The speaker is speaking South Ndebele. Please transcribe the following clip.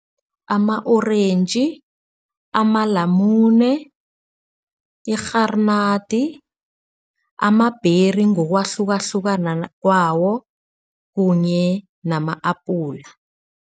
Ama-orentji, amalamune, irharinadi, ama-berry ngokwahlukahlukana kwawo kunye nama-apula.